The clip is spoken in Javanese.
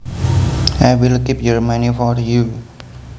I will keep your money for you